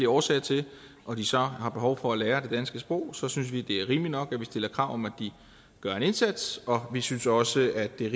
årsager til og de så har behov for at lære det danske sprog så synes vi det er rimeligt nok at vi stiller krav om at de gør en indsats og vi synes også at det er